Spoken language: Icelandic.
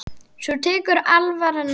En svo tekur alvaran við.